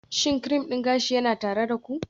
Shin cream din gashi yana tare da ku?